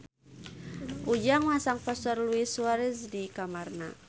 Ujang masang poster Luis Suarez di kamarna